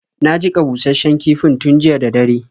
Na jiƙa bushasshen kifin tun jiya da dare.